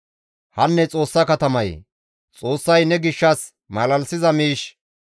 Hanne Xoossa katamayee! Xoossay ne gishshas malalisiza miish,